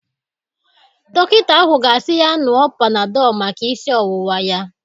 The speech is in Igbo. Dọkịta ahụ ga-asi ya ñụọ Panadol maka isi ọwụwa ya.